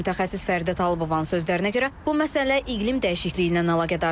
Mütəxəssis Fərqə Talıbovanın sözlərinə görə bu məsələ iqlim dəyişikliyi ilə əlaqədardır.